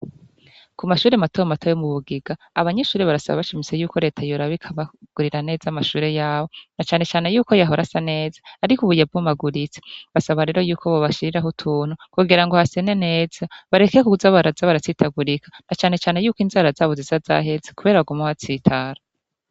Ku mashuri matobe matoye mu Bugiga abanyeshuri barasaba bashimise yuko leta yora b ikabagurira neza mashure yabo na cane cyane y'uko yahora asa neza ariko ubu yabumaguritse basaba rero y'uko bobashiriraho tuntu kugira ngo hasene neza bareke k guza babraza baratsitagurika na cyane cyane yuko inzara zabo ziza zahetse kubera bagoma baatsitara.